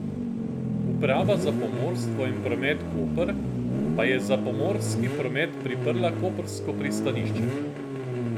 Uprava za pomorstvo in promet Koper pa je za pomorski promet priprla koprsko pristanišče.